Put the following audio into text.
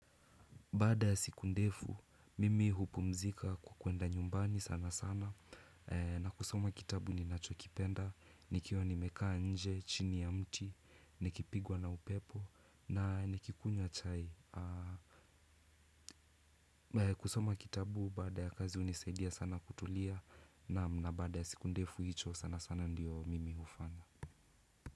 Baada ya siku ndefu, mimi hupumzika kwenda nyumbani sana sana na kusoma kitabu ninacho kipenda, nikiwa nimekaa nje, chini ya mti, nikipigwa na upepo na nikikunywa chai. Kusoma kitabu baada ya kazi hunisaidia sana kutulia naam na baada ya siku ndefu hicho sana sana ndiyo mimi ufanya.